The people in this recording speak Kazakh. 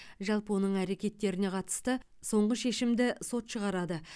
жалпы оның әрекеттеріне қатысты соңғы шешімді сот шығарады